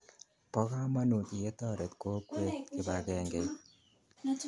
Po kamonut ye toret kokwet kipakengeit